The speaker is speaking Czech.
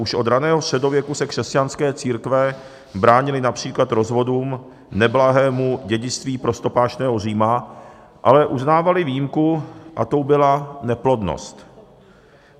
Už od raného středověku se křesťanské církve bránily například rozvodům, neblahému dědictví prostopášného Říma, ale uznávaly výjimku a tou byla neplodnost.